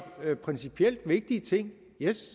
det principielt vigtige ting